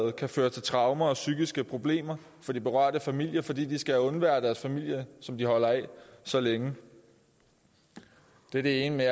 kan føre til traumer og psykiske problemer for de berørte familier fordi de skal undvære deres familie som de holder af så længe det er det ene